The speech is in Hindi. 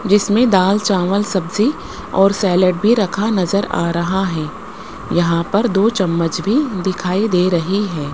जिसमें दाल चावल सब्जी और सैलेड भी रखा नजर आ रहा है यहां पर दो चम्मच भी दिखाई दे रही है।